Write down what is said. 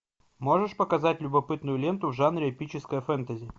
можешь показать любопытную ленту в жанре эпическое фэнтези